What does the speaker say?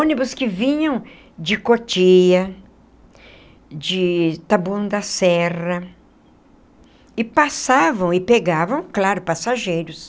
Ônibus que vinham de Cotia, de Taboão da Serra, e passavam e pegavam, claro, passageiros.